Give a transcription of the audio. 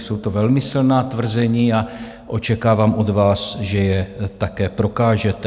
Jsou to velmi silná tvrzení a očekávám od vás, že je také prokážete.